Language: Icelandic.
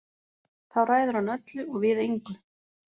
Þá ræður hann öllu og við engu.